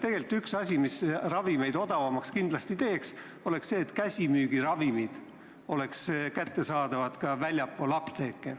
Tegelikult üks asi, mis ravimeid kindlasti odavamaks teeks, oleks see, et käsimüügiravimid oleks kättesaadavad ka väljaspool apteeke.